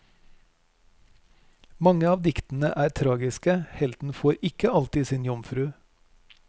Mange av diktene er tragiske, helten får ikke alltid sin jomfru.